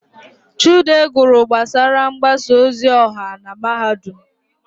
Chude gụrụ gbasara mgbasa ozi ọha na Mahadum.